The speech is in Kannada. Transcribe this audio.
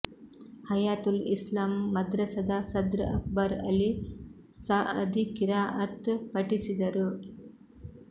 ಹಯಾತುಲ್ ಇಸ್ಲಾಂ ಮದ್ರಸದ ಸದ್ರ್ ಅಕ್ಬರ್ ಅಲಿ ಸಅದಿ ಕಿರಾಅತ್ ಪಠಿಸಿದರು